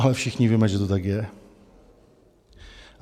Ale všichni víme, že to tak je.